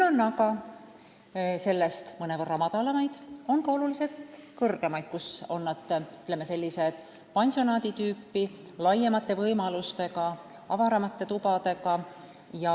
On ka sellest mõnevõrra odavamaid hooldekodusid, aga on ka tunduvalt kallimaid, mis on, ütleme, sellised pansionaadi tüüpi, laiemate võimalustega, avaramate tubadega jne.